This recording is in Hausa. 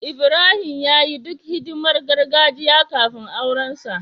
Ibrahim ya yi duk hidimar gargajiya kafin aurensa.